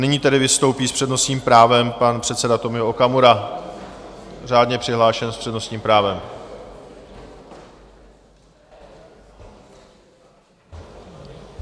Nyní tedy vystoupí s přednostním právem pan předseda Tomio Okamura, řádně přihlášený s přednostním právem.